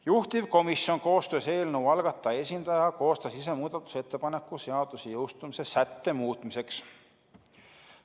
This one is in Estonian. Juhtivkomisjon koostöös eelnõu algataja esindajaga koostas ise muudatusettepaneku seaduse jõustumise sätte muutmiseks.